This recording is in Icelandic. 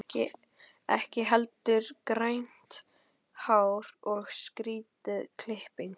Ekki heldur grænt hár og skrýtin klipping.